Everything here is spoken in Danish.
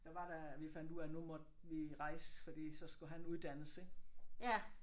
Der var der vi fandt ud af at nu måtte vi rejse fordi så skulle han uddannes ik